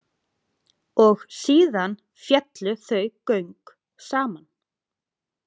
Og síðan féllu þau göng saman.